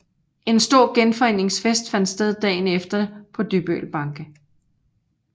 En stor genforeningsfest fandt sted dagen efter på Dybbøl Banke